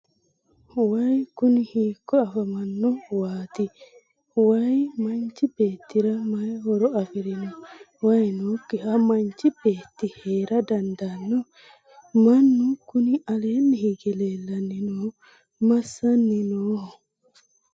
wayi kuni hiikko afamanno waati? wayi manchi beettira mayi horo afirino? wayi nookkiha manchi beetti heera dandaanno? mannu kuni aleenni hige leellanni noohu massanni nooho?